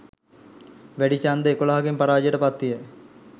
වැඩි ඡන්ද එකොළහකින් පරාජයට පත් විය